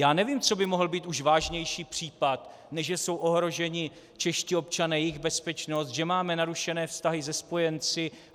Já nevím, co by mohl být už vážnější případ, než že jsou ohroženi čeští občané, jejich bezpečnost, že máme narušené vztahy se spojenci.